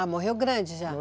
Ah, morreu grande, já? Foi.